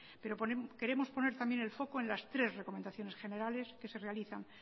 pero queremos poner también el foco en las tres recomendaciones generales que se realizan